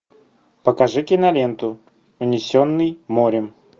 покажи киноленту унесенный морем